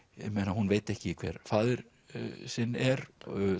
hún veit ekki hver faðir sinn er